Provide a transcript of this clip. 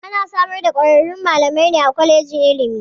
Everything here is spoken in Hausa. Ana samar da kwararrun malamai ne a kwalejin ilimi.